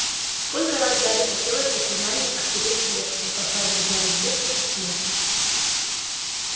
сколько раз гарри хотелось заклинанием отпереть клетку и послать друзьям с буклей письмо